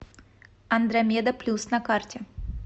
андромеда плюс на карте